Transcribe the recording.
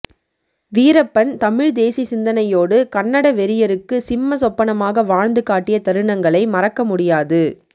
வீரப்பன் தமிழ் தேசி சிந்தனையோடு கன்னட வெறியருக்கு சிம்மசொப்பனமாக வாழ்ந்து காட்டிய தருணங்களை மறக்க முடியாது